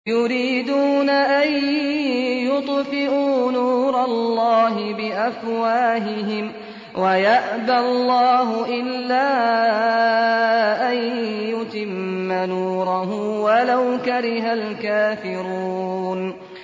يُرِيدُونَ أَن يُطْفِئُوا نُورَ اللَّهِ بِأَفْوَاهِهِمْ وَيَأْبَى اللَّهُ إِلَّا أَن يُتِمَّ نُورَهُ وَلَوْ كَرِهَ الْكَافِرُونَ